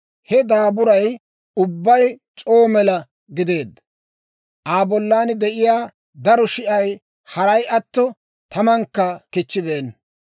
He daaburay ubbay c'oo mela gideedda; Aa bollan de'iyaa daro shi'ay haray atto, tamankka kichchibeenna.